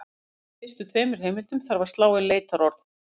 Athugið að í fyrstu tveimur heimildunum þarf að slá inn leitarorð.